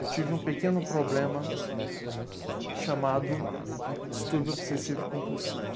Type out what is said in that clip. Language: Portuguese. Eu tive um pequeno problema chamado distúrbio obsessivo compulsivo.